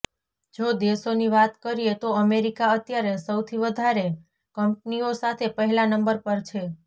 જો દેશોની વાત કરીએ તો અમેરિકા અત્યારે સૌથી વધારે કંપનીઓ સાથે પહેલા નંબર પર છે